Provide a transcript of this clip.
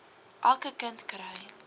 elke kind kry